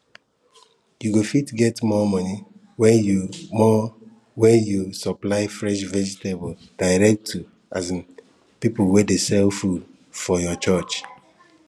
you go fit get more money when you money when you supply fresh vegetables direct to um people wey dey sell food for your church